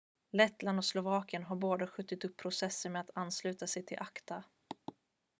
lettland och slovakien har båda skjutit upp processen med att ansluta sig till acta